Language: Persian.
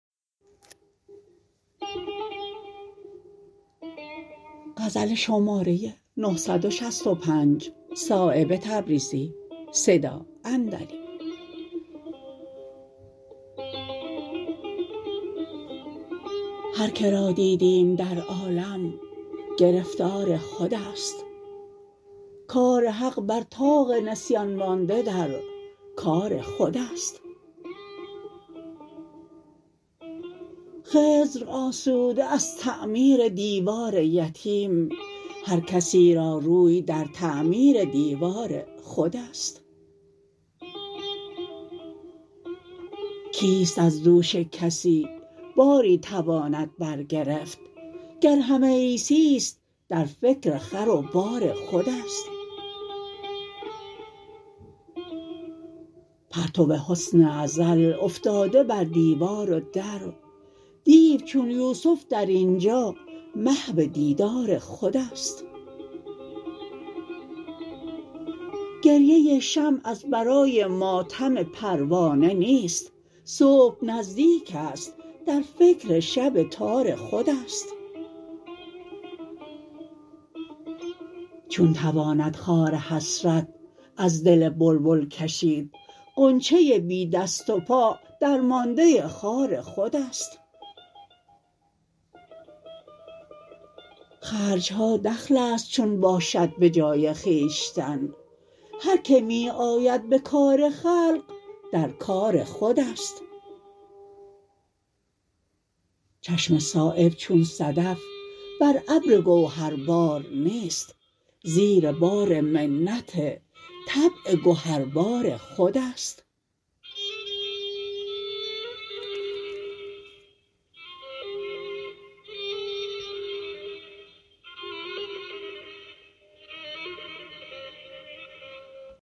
هر که را دیدیم در عالم گرفتار خودست کار حق بر طاق نسیان مانده در کار خودست خضر آسوده است از تعمیر دیوار یتیم هر کسی را روی در تعمیر دیوار خودست کیست از دوش کسی باری تواند برگرفت گر همه عیسی است در فکر خر و بار خودست پرتو حسن ازل افتاده بر دیوار و در دیو چون یوسف در اینجا محو دیدار خودست گریه شمع از برای ماتم پروانه نیست صبح نزدیک است در فکر شب تار خودست چون تواند خار حسرت از دل بلبل کشید غنچه بی دست و پا درمانده خار خودست خرجها دخل است چون باشد به جای خویشتن هر که می آید به کار خلق در کار خودست چشم صایب چون صدف برابر گوهر بار نیست زیر بار منت طبع گهربار خودست